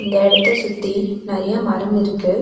இந்த எடத்தை சுத்தி நெறைய மரம் இருக்கு.